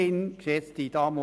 Messerli hat das Wort.